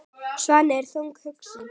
Svenni er þungt hugsi.